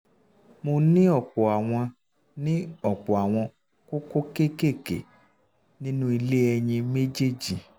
mo ní ọ̀pọ̀ àwọn ní ọ̀pọ̀ àwọn kókó kéékèèké nínú ilé um ẹyin méjèèjì pcos